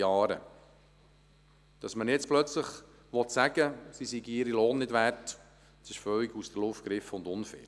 Dass man jetzt plötzlich sagen will, sie seien ihren Lohn nicht wert, ist völlig aus der Luft gegriffen und unfair.